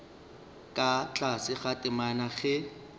ka tlase ga temana ge